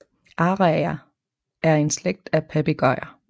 Araer er en slægt af papegøjer